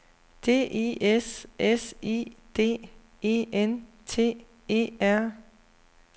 D I S S I D E N T E R